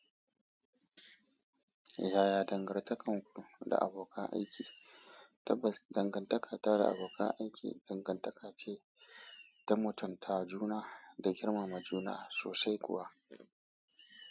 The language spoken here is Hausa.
Yaya dangantakar ku da abokan aiki? Tabbas, dangantaka da abokan aiki dangantaka ce ta mutunta juna da girmama juna sosai kuwa.